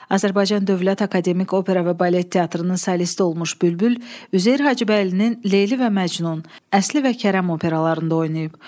Azərbaycan Dövlət Akademik Opera və Balet Teatrının solisti olmuş Bülbül Üzeyir Hacıbəylinin Leyli və Məcnun, Əsli və Kərəm operalarında oynayıb.